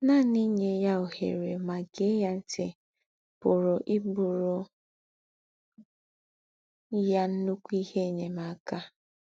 Nànì ínyè ya òhèrè mà gèè ya ńtì pùrù íbùrù ya ńnụ́kù íhe ènyèm̀akà.